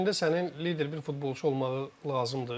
Heyətində sənin lider bir futbolçu olmağı lazımdır.